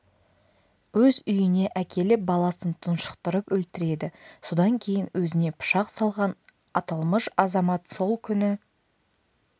өз үйіне әкеліп баласын тұншықтырып өлтіреді содан кейін өзіне пышақ салған аталмыш азамат сол күні